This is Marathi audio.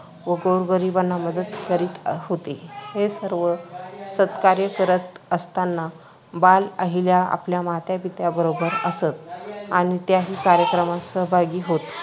व गोरगरिबांना मदत करीत होते. हे सर्व सत्कार्य करत असतांना बाल अहिल्या आपल्या मातापित्यांबरोबर असत व त्याही कार्यक्रमात सहभागी होत.